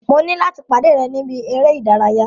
Mo ní láti pàdé ẹ̀ ni ibi eré ìdárayá.